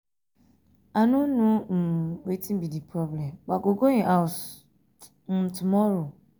i no um know um wetin be the problem but i go go im house um tomorrow